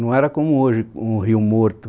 Não era como hoje, com o rio morto.